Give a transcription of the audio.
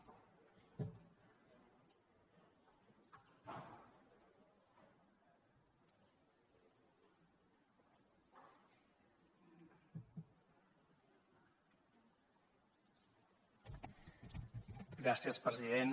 gràcies president